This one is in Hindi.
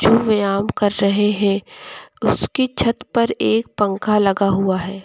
व्यायाम कर रहे हैं उसकी छत पर एक पंख लगा हुआ है।